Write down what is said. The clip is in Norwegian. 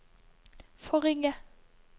forrige